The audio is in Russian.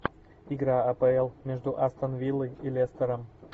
игра апл между астон виллой и лестером